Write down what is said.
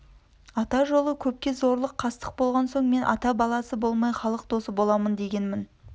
ата жолы көпке зорлық қастық болған соң мен ата баласы болмай халық досы боламын дегенмін